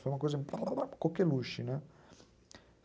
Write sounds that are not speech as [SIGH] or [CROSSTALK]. Foi uma coisa [UNINTELLIGIBLE] coqueluche, né?